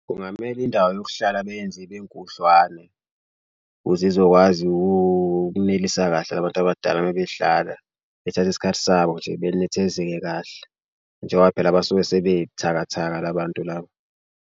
Kungamele indawo yokuhlala beyenze ibenkudlwane ukuze izokwazi ukunelisa kahle abantu abadala uma behlala bethatha isikhathi sabo nje benethezeke kahle njengoba phela abasuke sebethakathaka la bantu laba.